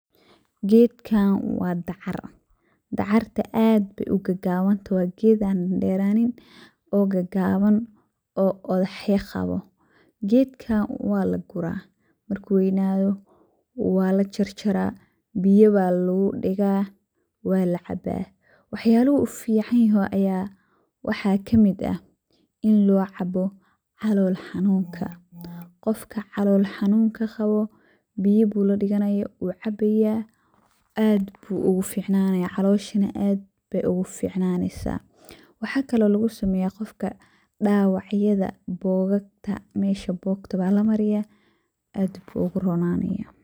Gedkan wa dacar, dacarta aad ayey ugagaban tahay wa ged an deranin oo qodoxya qawo oo. Gedkan walagura marku weynato walajarjara biyo aya lugudiga walacaba, waxyalaha uu ufican yahay aya waxa kamid ah inii locabo calool xanunka, qofka calool xanunka qawo biyo bu ladigani wu cabaya aad ayu oguficanaya calosha aad bey oguficnaneysa. Waxa kale lugusameya qofka dawacyada bogagta mesha bogta walamariya aad ayu oguronanaya.